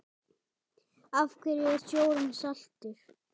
Af hverju er sjórinn saltur?